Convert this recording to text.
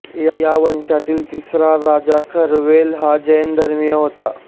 या वंशातील तिसरा राजा खरवेल हा जैन धर्मीय होता